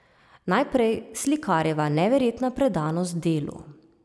Najprej, slikarjeva neverjetna predanost delu.